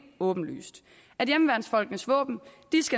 åbenlyst at hjemmeværnsfolkenes våben